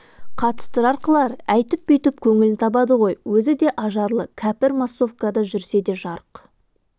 қатыстырар қылар әйтп-бүйтп көңлн табады ғой өзі де ажарлы кәпр массовкада жүрсе де жарқ